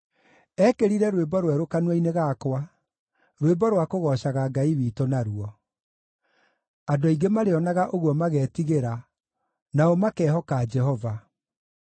Eekĩrire rwĩmbo rwerũ kanua-inĩ gakwa, rwĩmbo rwa kũgoocaga Ngai witũ naruo. Andũ aingĩ marĩonaga ũguo magetigĩra, nao makehoka Jehova.